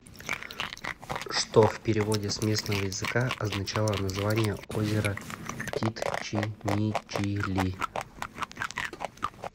что в переводе с местного языка означало название озера титчинничили